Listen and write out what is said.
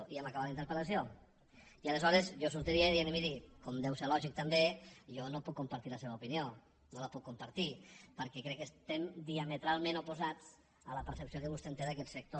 i ja hem acabat la interpel·jo sortiria dient miri com deu ser lògic també jo no puc compartir la seva opinió no la puc compartir perquè crec que estem diametralment oposats a la percepció que vostè té d’aquest sector